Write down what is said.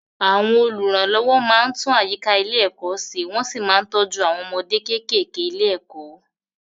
Àwọn olùrànlọ́wọ́ máa ń tún àyíká ilé-ẹ̀kọ́ ṣẹ wọ́n sì máa ń tọ́jú àwọn ọmọdé kéékèèké ilé-ẹ̀kọ́.